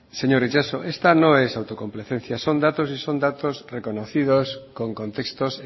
señor itxaso esta no es autocomplacencia son datos y son datos reconocidos con contextos